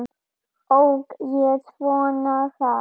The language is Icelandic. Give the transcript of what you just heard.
Ók ég svona hratt?